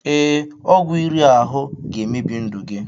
Ee, ọgwụ iri ahụ ga-emebi ndụ gị